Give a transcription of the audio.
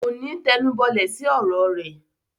Kòní tẹnubọlẹ̀ sí ọ̀rọ̀ rẹ.